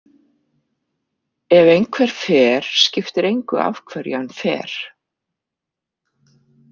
Ef einhver fer skiptir engu af hverju hann fer.